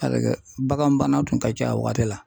baganbana tun ka ca o waati la.